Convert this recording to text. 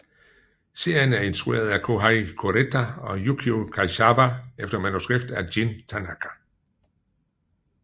Serien er instrueret af Kohei Kureta og Yukio Kaizawa efter manuskript af Jin Tanaka